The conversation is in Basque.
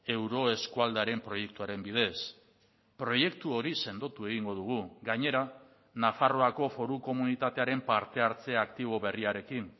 euro eskualdearen proiektuaren bidez proiektu hori sendotu egingo dugu gainera nafarroako foru komunitatearen parte hartze aktibo berriarekin